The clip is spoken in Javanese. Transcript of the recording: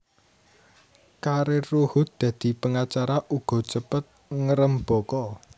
Karir Ruhut dadi pengacara uga cepet ngrembaka